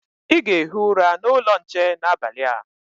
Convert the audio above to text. Ị ga-ehi ụra n'ụlọ nche n'abalị a.